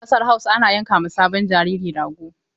A ƙasar Hausa ana yanka ma sabon jariri rago.